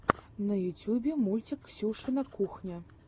на ютьюбе мультик ксюшина кухня